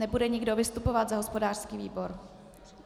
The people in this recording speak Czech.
Nebude nikdo vystupovat za hospodářský výbor?